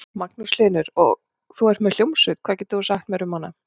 Magnús Hlynur: Og þú ert með hljómsveit, hvað getur þú sagt mér um hana?